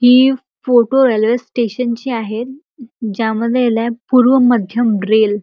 हि photo L S station ची आहेत अ ज्यामध्ये पूर्व मध्यम रेल --